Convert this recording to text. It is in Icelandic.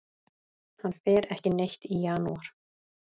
Hann fer ekki neitt í janúar.